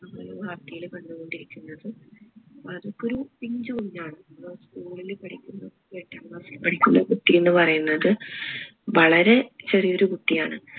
നമ്മൾ വാർത്തയില് കണ്ടുകൊണ്ടിരിക്കുന്നത് അത്ഇപ്പോ ഒരു പിഞ്ച് കുഞ്ഞാണ് ഏർ school ഇൽ പഠിക്കുമ്പോ എട്ടാം class ഇൽ പഠിക്കുന്ന കുട്ടി എന്ന് പറയുന്നത് വളരെ ചെറിയൊരു കുട്ടി ആണ്